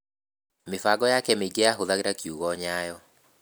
Mĩbango yake mĩingĩ yahũthagĩra kiugo "Nyayo".